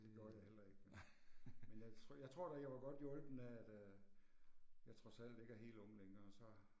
Det gjorde jeg heller ikke nej. Men jeg jeg tror da jeg var godt hjulpet af at jeg trods alt ikke er helt ung længere, så